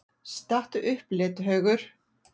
STATTU UPP, LETIHAUGUR!